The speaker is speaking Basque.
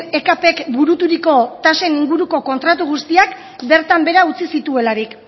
ekpk buruturiko tasen inguruko kontratu guztiaz bertan behera utzi zituelarik